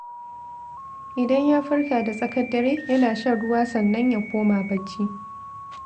Idan ya farka da tsakar dare, yana shan ruwa sannan ya koma barci.